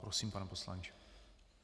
Prosím, pane poslanče.